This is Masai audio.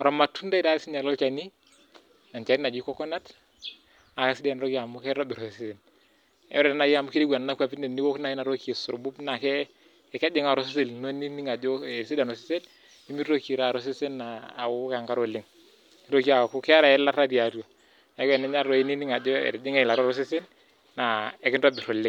or matundai loo olchani enchani najii coconut naa kisidai ena toki amu kitobir osesen ore naaji amu nejia etieu Nena kwapii tiniok naajii enatoki aisurbub ninig Ajo etisidana osesen nimitoki taata osesen awok enkare oleng nitoki aku keeta eyilata tiatua neeku tenimiata oshi ninig Ajo etijing'a eyilata atua osesen naa ekintobir oleng